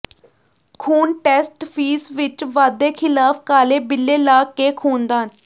ਖੂਨ test fees ਵਿੱਚ ਵਾਧੇ ਖ਼ਿਲਾਫ਼ ਕਾਲੇ ਬਿੱਲੇ ਲਾ ਕੇ ਖ਼ੂਨਦਾਨ